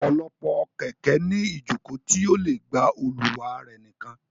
Ọ̀pọ̀lọpọ̀ kẹ̀kẹ́ ní iìjòkó tí ó le gba olùwà rẹ̀ nìkan